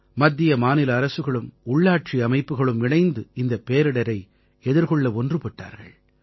மத்தியமாநில அரசுகளும் உள்ளாட்சி அமைப்புக்களும் இணைந்து இந்தப் பேரிடரை எதிர்கொள்ள ஒன்றுபட்டார்கள்